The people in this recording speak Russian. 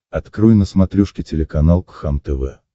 открой на смотрешке телеканал кхлм тв